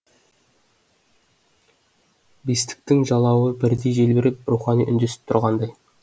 бестіктің жалауы бірдей желбіреп рухани үндесіп тұрғандай